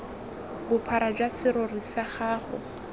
bophara jwa serori sa gago